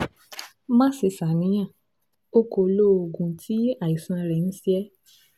má ṣe ṣàníyàn o kò lo oògùn tí àìsàn rẹ ń ṣe é